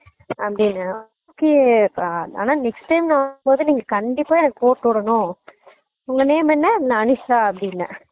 அப்படினேன் ஓ okay ஆனா next time நான் வரும் போது கண்டிப்பா எனக்கு போட்டு விடனும் உங்க name என்ன நான் அனிஷா அப்படினேன்